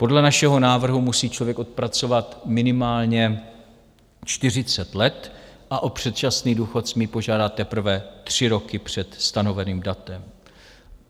Podle našeho návrhu musí člověk odpracovat minimálně 40 let a o předčasný důchod smí požádat teprve tři roky před stanoveným datem.